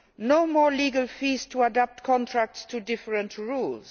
no more legal fees to adapt contracts to different rules